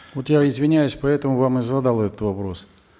вот я извиняюсь поэтому вам и задал этот вопрос